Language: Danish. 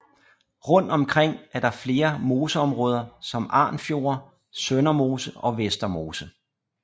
Rund omkring er der flere moseområder som Arnfjorde Søndermose og Vestermose